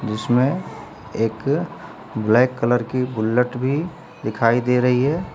जिसमें एक black colour की बुल्लेट भी दिखाई दे रही है।